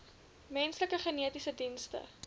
menslike genetiese dienste